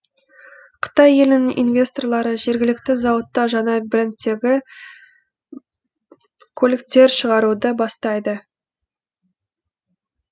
қытай елінің инвесторлары жергілікті зауытта жаңа брендтегі көліктер шығаруды бастайды